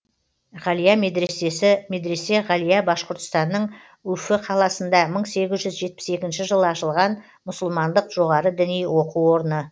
ғалия медресесі медресе ғалия башқұртстанның үфі қаласында мың сегіз жүз жетпіс екінші жылы ашылған мұсылмандық жоғары діни оқу орны